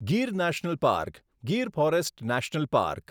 Gir national park Gir forest national park